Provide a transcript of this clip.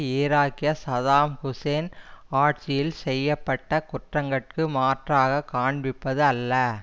ஈராக்கிய Saddam Hussein ஆட்சியில் செய்ய பட்ட குற்றங்கட்கு மாற்றாகக் காண்பிப்பது அல்ல